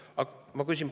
Aga ma nüüd küsin.